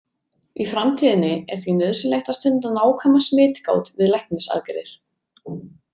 Í framtíðinni er því nauðsynlegt að stunda nákvæma smitgát við læknisaðgerðir.